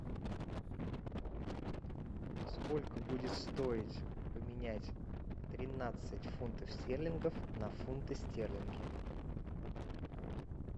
сколько будет стоить поменять тринадцать фунтов стерлингов на фунты стерлинги